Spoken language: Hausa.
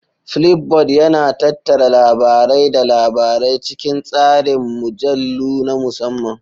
Flipboard yana tattara labarai da labarai cikin tsarin mujallu na musamman.